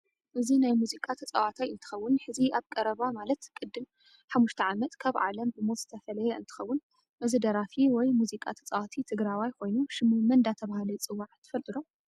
እዚ ናይ መዝቃ ተፃወታይ እንትከውን ሕዚ ኣብ ቀረባ ማለት ቅድም ሓሙሽተ ዓመት ካብ ዓለም ብሞት ዝተፈለየ እንትከውን እዚ ዳራፊ ውይ መዝቃ ተፃወቲ ትግራዋይ ኮይኑ ሽሙ መን እደተበሃለ ይፅዋዕ ትፍልጥዶ?